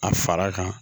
A fara kan